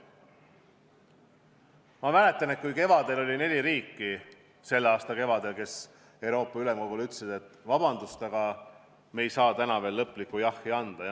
Ma mäletan, et selle aasta kevadel oli neli riiki, kes Euroopa Ülemkogul ütlesid, et vabandust, aga nad ei saa veel lõplikku jah-sõna anda.